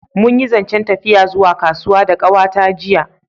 Mun yi zancen tafiya zuwa kasuwa da kawa ta jiya